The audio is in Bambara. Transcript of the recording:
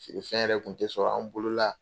Feere fɛn yɛrɛ kun tɛ sɔrɔ an bolola.